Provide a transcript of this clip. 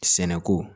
Sɛnɛko